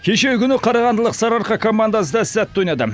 кешегі күні қарағандылық сарыарқа командасы да сәтті ойнады